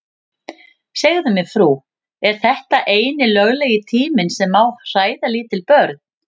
Segðu mér frú, er þetta eini löglegi tíminn sem má hræða lítil börn?